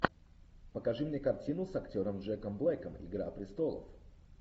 покажи мне картину с актером джеком блэком игра престолов